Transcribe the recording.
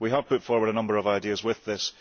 We have put forward a number of ideas with this.